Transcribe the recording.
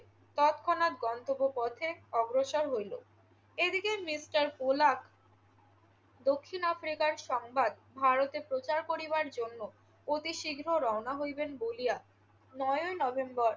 তৎক্ষণাৎ গন্তব্য পথে অগ্রসর হইল। এদিকে মিস্টার কোলাক দক্ষিণ আফ্রিকার সংবাদ ভারতে প্রচার করিবার জন্য অতি শীঘ্র রওনা হইবেন বলিয়া নয়ই নভেম্বর